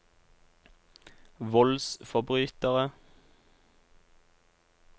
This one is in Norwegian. voldsforbrytere